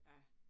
Ja